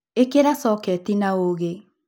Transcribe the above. ikira soketi na ũũgĩ